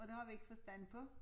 Og det har vi ikke forstand på